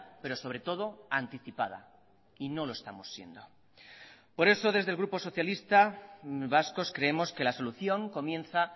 pero sobre todo anticipada y no lo estamos siendo por eso desde el grupo socialista vascos creemos que la solución comienza